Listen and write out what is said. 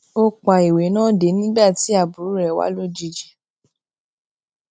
ó pa ìwé náà de nígbà tí àbúrò rè wá lójijì